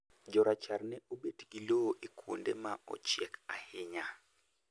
Jorachar ne obet gi lowo e kuonde ma ochiek ahinya